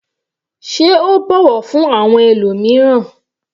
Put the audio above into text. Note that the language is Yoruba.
Sé o bọ̀wọ̀ fún àwọn ẹlòmíràn?